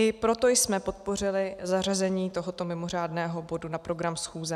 I proto jsme podpořili zařazení tohoto mimořádného bodu na program schůze.